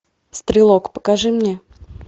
стрелок покажи мне